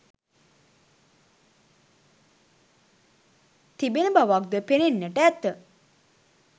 තිබෙන බවක්ද පෙනෙන්නට ඇත.